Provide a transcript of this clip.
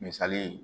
Misali ye